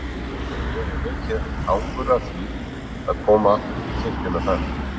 Ég hef mikið angur af því að koma í kirkjuna þar.